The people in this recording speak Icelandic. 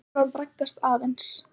Evran braggast aðeins